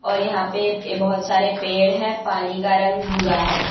और यहां पे बहोत सारे पेड़ है पानी का रंग भूरा है।